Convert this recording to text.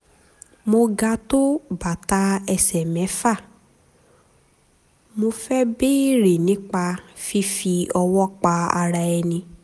mo ga tó bàtà ẹsẹ̀ mẹ́fà mo fẹ́ béèrè nípa fífi ọwọ́ pa ara ẹni